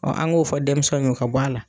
an ŋ'o fɔ denmisɛnw y'o ka bɔ a la.